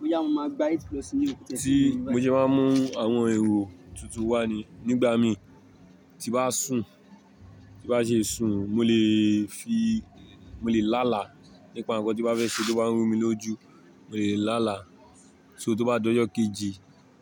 Mo jẹ máa ń mú àwọn èrò tuntun wá ni. Nígbà mí tí bá sùn, tí bá ṣe sùn, mo lè fi, mo lè lálàá. Nípa nǹkan tí bá fẹ́ ṣe tó bá ń rú mi lójú, mo lè lá àlá. So tó bá dọjọ́ kejì,